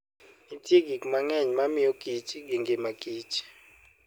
Nitie gik mang'eny mamiyo Kich gi ngima Kich.